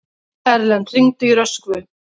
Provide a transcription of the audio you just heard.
Erlen, hringdu í Röskvu.